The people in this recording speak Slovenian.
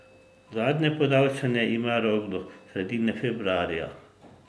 Zadnje podaljšanje ima rok do sredine februarja.